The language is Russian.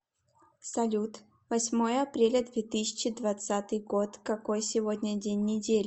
салют восьмое апреля две тысячи двадцатый год какой сегодня день недели